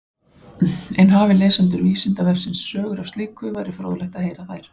En hafi lesendur Vísindavefsins sögur af slíku væri fróðlegt að heyra þær.